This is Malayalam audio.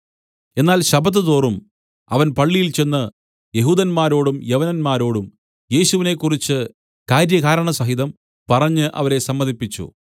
എന്നാൽ ശബ്ബത്ത്തോറും അവൻ പള്ളിയിൽച്ചെന്ന് യെഹൂദന്മാരോടും യവനന്മാരോടും യേശുവിനെ കുറിച്ച് കാര്യകാരണസഹിതം പറഞ്ഞ് അവരെ സമ്മതിപ്പിച്ചു